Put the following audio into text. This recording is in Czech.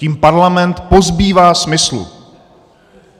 Tím parlament pozbývá smyslu.